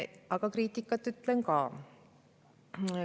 Aga kriitikat teen ka.